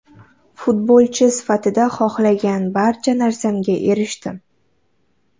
Futbolchi sifatida xohlagan barcha narsamga erishdim.